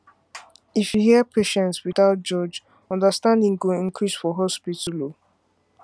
if you hear patients without judge understanding go increase for hospital